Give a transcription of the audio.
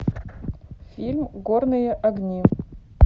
фильм горные огни